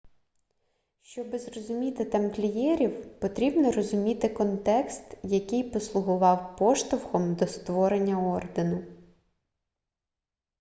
щоби зрозуміти тамплієрів потрібно розуміти контекст який послугував поштовхом до створення ордену